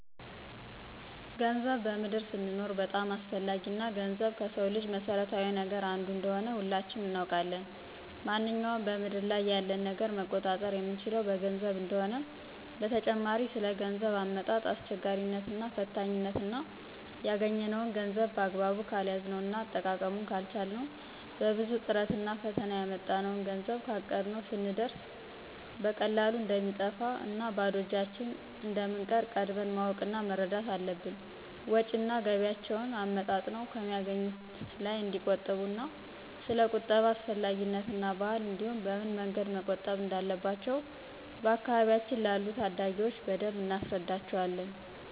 ገንዘብ በምድር ስንኖር በጣም አስፈላጊ እና ገንዘብ ከስው ልጅ መሰረታዊ ነገር አንዱ እንደሆነ ሁላችንም እናውቃለን ማነኛውንም በምድር ላይ ያለን ነገር መቆጣጠር የምንችለው በገንዘብ እንደሆነ፣ በተጨማሪ ስለ ገንዘብ አመጣጥ አስቸጋሪነት እና ፈታኝነት እና ያግኘነውን ገንዘብ በአግባቡ ካልያዝነው እና አጠቃቀሙን ካልቻልነው በብዙ ጥረቭና ፈተና ያመጣነውን ገንዘብ ካቀድነው ስንየርስ በቀላሉ እንደሚጠፋ እና ባዶ እጃችን እንደምንቀር ቀድመን ማወቅ እና መረዳት አለብን። ወጭ እና ገቢያቸውን አመጣጥነው ከሚያገኙት ላይ እንዲቆጥቡ እና ሰለ ቁጠባ አስፈላጊነት እና ባህል እንዲሁም በምን መንገድ መቆጠብ እንዳለባቸው በአካባቢያችን ላሉ ታዳጊዎች በደንብ እናስረዳቸዋለን።